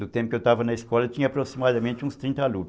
No tempo que eu estava na escola, tinha aproximadamente uns trinta alunos.